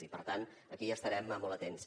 i per tant aquí hi estarem molt atents